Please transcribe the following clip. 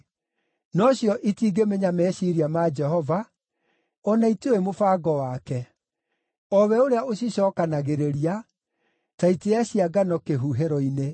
No cio itingĩmenya meciiria ma Jehova; o na itiũĩ mũbango wake, o we ũrĩa ũcicookanagĩrĩria ta itĩĩa cia ngano kĩhũrĩro-inĩ.